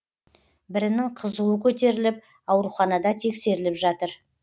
бірінің қызуы көтеріліп ауруханада тексеріліп жатыр